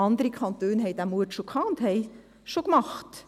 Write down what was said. Andere Kantone hatten den Mut schon und machten dies bereits.